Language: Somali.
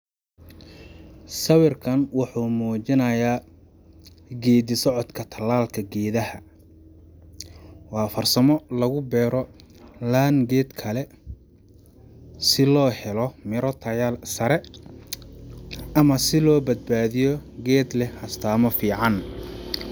Sawirkan wuxu mujinaya, gedi socodka talalka gedaha, wa farsamo lugu bero laan ged kale si lohelo mira tayal sare ama si lobad badi ged leh astama fican.